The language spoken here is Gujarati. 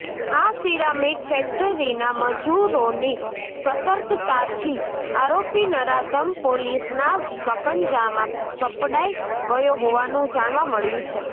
આ સીરામીક ફ્ેકટરીના મજૂરોની સતર્કતાથી આરોપી નરાધમ પોલીસના સંકજામાં સપડાઈ ગયો હોવાનું જાણવા મળ્યું છે